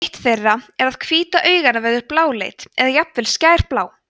eitt þeirra er að hvíta augnanna verður bláleit eða jafnvel skærblá